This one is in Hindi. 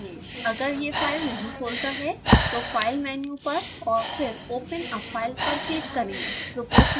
अगर यह फाइल नहीं खोलता तो file मेन्यु पर और फिर open a file पर क्लिक करें